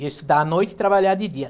Ia estudar à noite e trabalhar de dia.